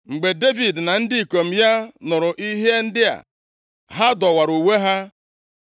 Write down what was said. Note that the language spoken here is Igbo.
Mgbe Devid na ndị ikom ya nụrụ ihe ndị a. Ha dọwara uwe ha.